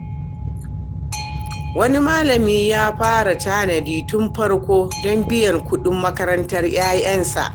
Wani malami ya fara tanadi tun farko don biyan kuɗin makarantar 'ya'yansa.